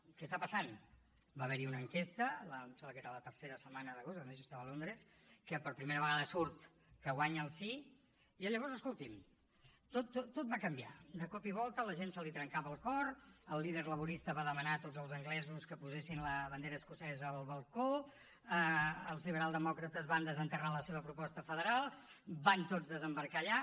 què està passant va haver hi una enquesta em sembla que era la tercera setmana d’agost a més jo estava a londres en què per primera vegada surt que guanya el sí i llavors escolti’m tot va canviar de cop i volta a la gent se li trencava el cor el líder laborista va demanar a tots els anglesos que posessin la bandera escocesa al balcó els liberaldemòcrates van desenterrar la seva proposta federal van tots desembarcar allà